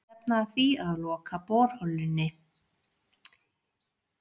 Stefna að því að loka borholunni